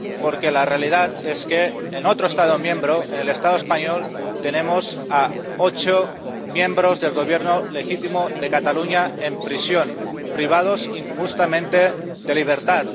Porque la realidad es que, en otro Estado miembro, en el Estado español, tenemos a ocho miembros del Gobierno legítimo de Cataluña en prisión, privados injustamente de libertad.